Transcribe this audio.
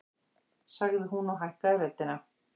sagði hún og hækkaði röddina.